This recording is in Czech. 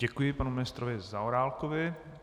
Děkuji panu ministrovi Zaorálkovi.